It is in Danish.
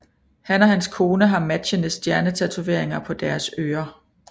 Han og hans kone har matchende stjernetatoveringer på deres ører